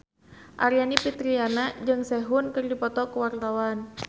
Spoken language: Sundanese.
Aryani Fitriana jeung Sehun keur dipoto ku wartawan